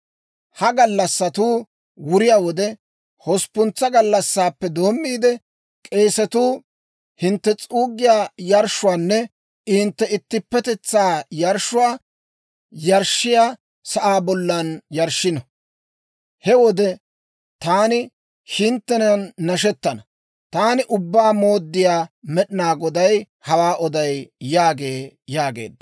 Ha gallassatuu wuriyaa wode, hosppuntsa gallassaappe doommiide, k'eesatuu hintte s'uuggiyaa yarshshuwaanne hintte ittippetetsaa yarshshuwaa yarshshiyaa sa'aa bollan yarshshino. He wode taani hinttenan nashettana. Taani Ubbaa Mooddiyaa Med'inaa Goday hawaa oday› yaagee» yaageedda.